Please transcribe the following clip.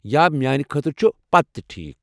یا میانہ خٲطرٕ چھُ پتہٕ تہِ ٹھیٖک۔